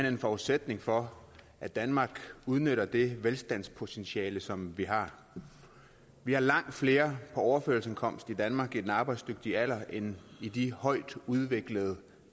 en forudsætning for at danmark udnytter det velstandspotentiale som vi har vi har langt flere på overførselsindkomst i danmark i den arbejdsdygtige alder end i de højtudviklede